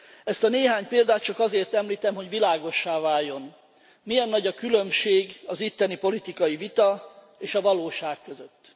Ezt a néhány példát csak azért említem, hogy világossá váljon, milyen nagy a különbség az itteni politikai vita és a valóság között.